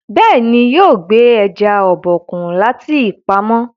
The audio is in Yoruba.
béèni yóò gbé eja Obokun láti pàmò.